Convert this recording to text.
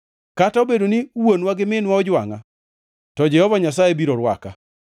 Kata obedo ni wuonwa gi minwa ojwangʼa to Jehova Nyasaye biro rwaka.